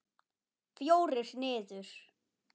Fjórir niður.